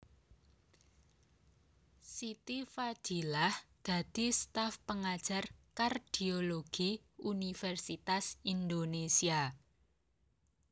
Siti Fadilah dadi staf pengajar kardiologi Universitas Indonésia